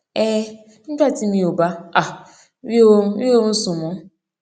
um nígbà tí mi ò bá um rí oorun rí oorun sùn mó